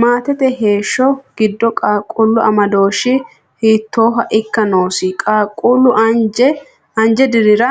Maatete heeshsho giddo qaaqquullu amadooshshi hiittooha ikka noosi? Qaaqquullu anje dirira